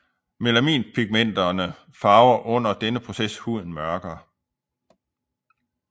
Melaninpigmenterne farver under denne proces huden mørkere